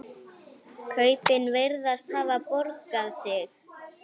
Kaupin virðast hafa borgað sig.